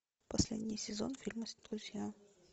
последний сезон фильма друзья